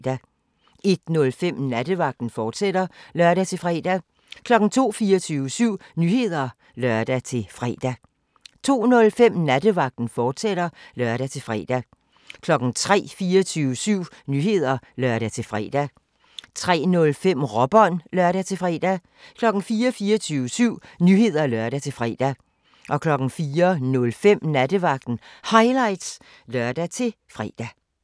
01:05: Nattevagten, fortsat (lør-fre) 02:00: 24syv Nyheder (lør-fre) 02:05: Nattevagten, fortsat (lør-fre) 03:00: 24syv Nyheder (lør-fre) 03:05: Råbånd (lør-fre) 04:00: 24syv Nyheder (lør-fre) 04:05: Nattevagten Highlights (lør-fre)